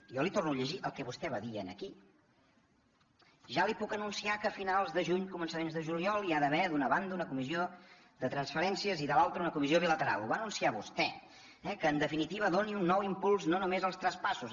jo li torno a llegir el que vostè va dir aquí ja li puc anunciar que a finals de juny començaments de juliol hi ha d’haver d’una banda una comissió de transferències i de l’altra una comissió bilateral ho va anunciar vostè eh que en definitiva doni un nou impuls no només als traspassos